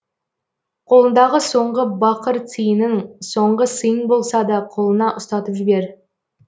қолыңдағы соңғы бақыр тиының соңғы сыйың болса да қолына ұстатып жібер